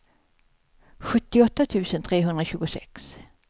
sjuttioåtta tusen trehundratjugosex